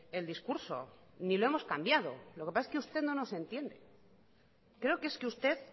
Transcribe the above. el discurso ni lo hemos cambiado lo que pasa es que usted no nos entiende creo que es que usted